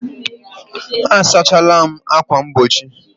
M sachala ákwà mgbochi